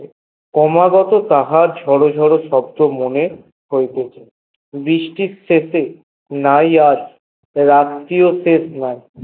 ক্রমাগত তাহার ঝড়ো ঝড়ো শব্দ মনের হইতেছে বৃষ্টির শেষে নাই আর রাত্রির শেষ নাই